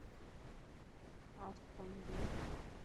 астон вилла